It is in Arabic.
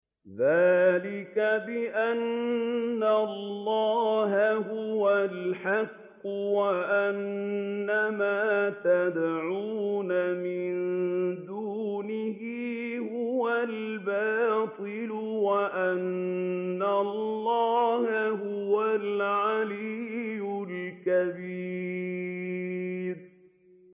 ذَٰلِكَ بِأَنَّ اللَّهَ هُوَ الْحَقُّ وَأَنَّ مَا يَدْعُونَ مِن دُونِهِ هُوَ الْبَاطِلُ وَأَنَّ اللَّهَ هُوَ الْعَلِيُّ الْكَبِيرُ